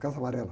Casa amarela.